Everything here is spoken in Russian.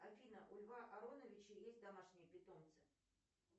афина у льва ароновича есть домашние питомцы